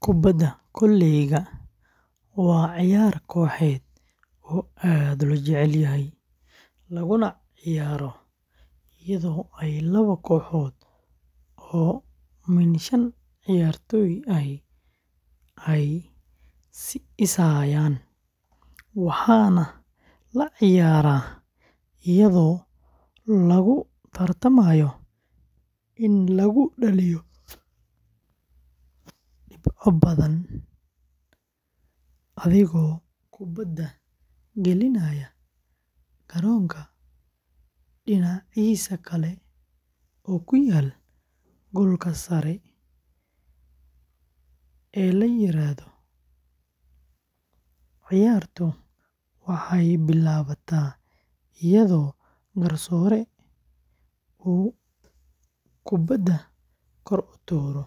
Kubadda koleyga waa ciyaar kooxeed oo aad loo jecel yahay, laguna ciyaaro iyadoo ay laba kooxood oo min shan ciyaartoy ahi ay is hayaaan, waxaana la ciyaaraa iyadoo lagu tartamayo in lagu dhaliyo dhibco badan adigoo kubadda gelinaya garoonka dhinaciisa kale ku yaal goolka sare ee la yiraahdo. Ciyaartu waxay bilaabataa iyadoo garsoore uu kubadda kor u tuuro,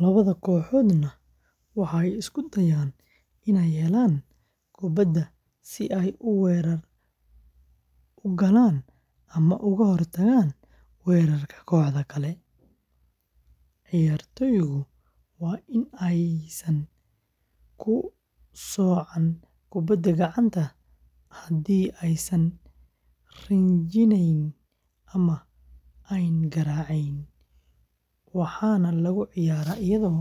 labada kooxoodna waxay isku dayaan in ay helaan kubadda si ay weerar u galaan ama uga hortagaan weerarka kooxda kale. Ciyaartoygu waa in aysan ku socon kubadda gacanta haddii aysan rinjinayn ama aanay garaacin, waxaana lagu ciyaaraa iyadoo lagu dadaalayo xawaare, xeelad, isgaarsiin wanaagsan, iyo qiyaas sax ah oo meelaha kubadda laga toogto.